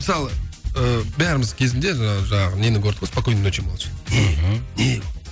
мысалы ыыы бәріміз кезінде жаңағы жаңағы нені көрдік қой спокойной ночи малыши не мхм не ол